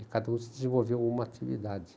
E cada um desenvolveu uma atividade.